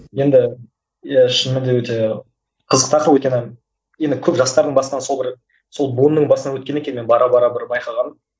енді иә шынымен де өте қызық тақырып өйткені енді көп жастардың басынын сол бір сол буынның басынан өткен екен мен бара бара бір байқағаным